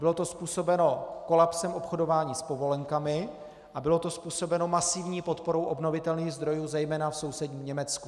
Bylo to způsobeno kolapsem obchodování s povolenkami a bylo to způsobeno masivní podporou obnovitelných zdrojů zejména v sousedním Německu.